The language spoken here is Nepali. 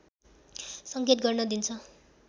संकेत गर्न दिन्छ